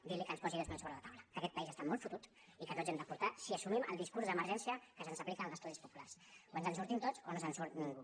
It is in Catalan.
dir li que en posi dos mil sobre la taula que aquest país està molt fotut i que tots hi hem d’aportar si assumim el discurs d’emergència que se’ns aplica a les classes populars o ens en sortim tots o no se’n surt ningú